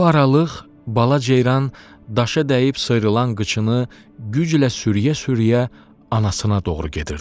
Bu aralıq bala ceyran daşa dəyib sıyrılan qıçını güclə sürüyə-sürüyə anasına doğru gedirdi.